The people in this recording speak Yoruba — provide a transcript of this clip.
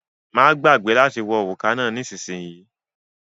Má gbàgbé láti wọ òrùka náà nísìsiyìí